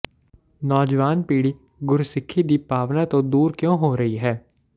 ਨੌਜਵਾਨ ਪੀੜ੍ਹੀ ਗੁਰਸਿੱਖੀ ਦੀ ਭਾਵਨਾ ਤੋਂ ਦੂਰ ਕਿਉਂ ਹੋ ਰਹੀ ਹੈ